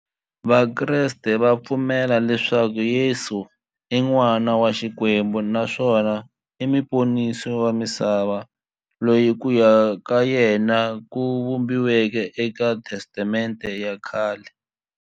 Vakreste va pfumela leswaku Yesu i n'wana wa Xikwembu naswona i muponisi wa misava, loyi ku vuya ka yena ku vhumbiweke e ka Testamente ya khale.